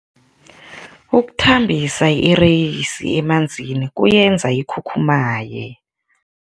Ukuthambisa ireyisi emanzini kuyenza ikhukhumaye.